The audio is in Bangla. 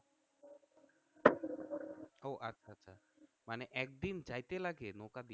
মানে একদিন যাইতে লাগে নৌকা দিয়ে?